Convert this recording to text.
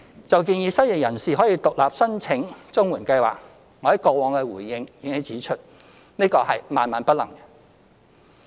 就建議失業人士可獨立申請綜援計劃，我在過往的回應已指出，這是萬萬不能的。